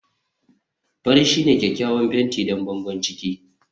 fari shine kyakkyawan fenti don bangon ciki